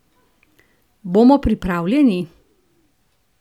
Bomo pripravljeni?